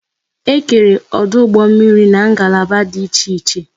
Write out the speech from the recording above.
E kere ọdụ ụgbọ mmiri n'ngalaba dị iche iche